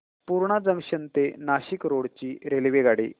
Purna junction ते Nashik road ची रेल्वेगाडी